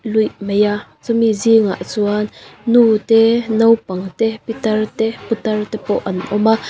luih mai a chumi zingah chuan nu te naupang te pitar te putar te pawh an awm a.